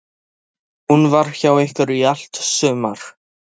Hún var hjá ykkur í allt sumar.